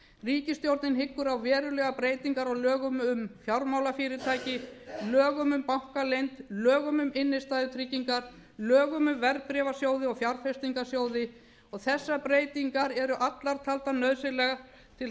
ríkisstjórnin hyggur á verulegar breytingar á lögum um fjármálafyrirtæki lögum um bankaleynd lögum um innstæðutryggingar lögum um verðbréfasjóði og fjárfestingarsjóði þessar breytingar eru allar taldar nauðsynlegar til